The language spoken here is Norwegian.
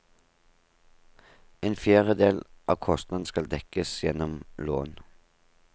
En fjerdedel av kostnadene skal dekkes gjennom lån.